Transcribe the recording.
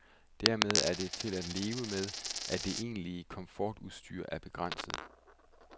Dermed er det til at leve med, at det egentlige komfortudstyr er begrænset.